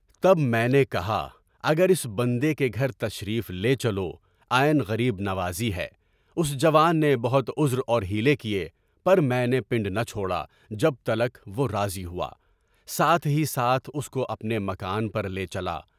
تب میں نے کہا اگر اس بندے کے گھر تشریف لے چلو، عین غریب نوازی ہے، اس جوان نے بہت عذر اور حیلے کیے، پر میں نے پنڈ نہ چھوڑا جب تک وہ راضی ہوا، ساتھ ہی ساتھ اس کو اپنے مکان پر لے چلا۔